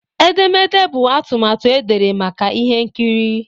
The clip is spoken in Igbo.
Edemede bụ atụmatụ edere maka ihe nkiri.